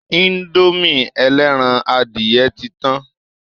Indomie ẹlẹ́ran adìyẹ ti tán